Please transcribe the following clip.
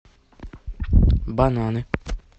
бананы